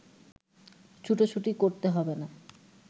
ছুটোছুটি করতে হবে না